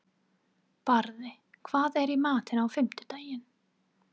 Barði, hvað er í matinn á fimmtudaginn?